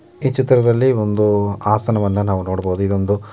ಈ ಚಿತ್ರದಲ್ಲಿ ಒಂದು ಆಸನವನ್ನು ನಾವು ನೋಡಬಹುದು ಇದು ಒಂದು --